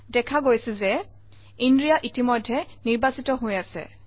দেখা গৈছে যে ইনাৰিয়া ইতিমধ্যে নিৰ্বাচিত হৈ আছে